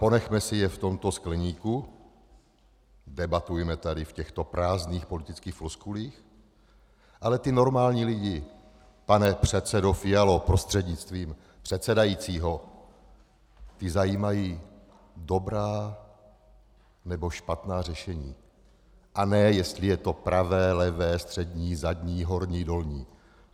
Ponechme si je v tomto skleníku, debatujme tady v těchto prázdných politických floskulích, ale ty normální lidi, pane předsedo Fialo prostřednictvím předsedajícího, ty zajímají dobrá nebo špatná řešení, a ne jestli je to pravé, levé, střední, zadní, horní, dolní.